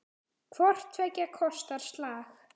Hvort tveggja kostar slag.